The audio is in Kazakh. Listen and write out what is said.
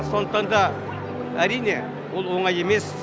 сондықтан да әрине ол оңай емес